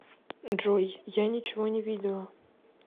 джой я ничего не видела